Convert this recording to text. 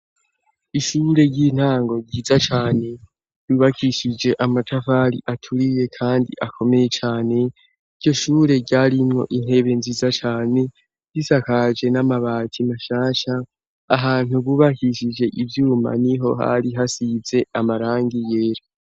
Ishure ry'intango ryiza cane, bubakishije amatafari aturiye, kandi akomeye cane, iryo shure ryarimwo intebe nziza cane, risakaje n'amabati mashasha ahantu bubakishije ivyuma, niho hari hasize amarangi yera.